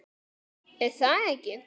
Una: Er það ekki?